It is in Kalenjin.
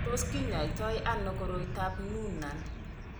Tos kinyaita koroitoab Noonan?